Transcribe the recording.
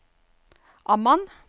Amman